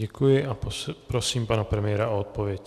Děkuji a prosím pana premiéra o odpověď.